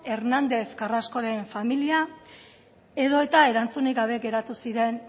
hernandez carrascoren familia edota erantzunik gabe geratu ziren